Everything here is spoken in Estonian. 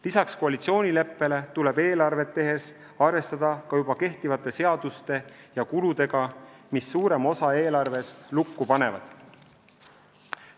Lisaks koalitsioonileppele tuleb eelarvet tehes arvestada ka juba kehtivate seaduste ja kuludega, mis suurema osa eelarvest lukku panevad.